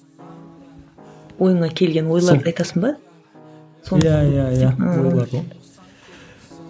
ойыңа келген ойларды айтасың ба иә иә иә